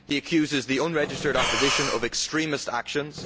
In it he accuses the unregistered opposition of extremist actions.